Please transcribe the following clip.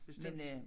Bestemt